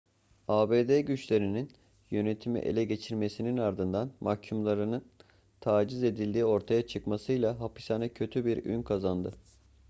abd güçlerinin yönetimi ele geçirmesinin ardından mahkumların taciz edildiğinin ortaya çıkmasıyla hapishane kötü bir ün kazandı